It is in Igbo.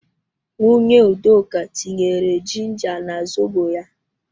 Nwunye Udoka tinyere jinja na zobo ya